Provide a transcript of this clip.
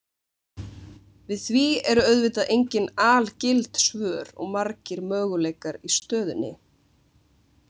Við því eru auðvitað engin algild svör og margir möguleikar í stöðunni.